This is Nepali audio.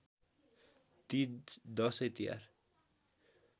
तिज दशै तिहार